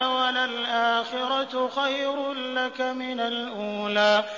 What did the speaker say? وَلَلْآخِرَةُ خَيْرٌ لَّكَ مِنَ الْأُولَىٰ